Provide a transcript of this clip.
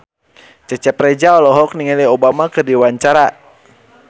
Cecep Reza olohok ningali Obama keur diwawancara